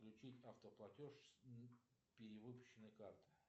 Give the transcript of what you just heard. включить автоплатеж с перевыпущенной карты